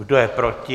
Kdo je proti?